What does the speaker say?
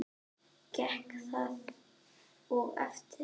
Gekk það og eftir.